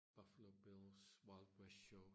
Buffalo Bills wild west show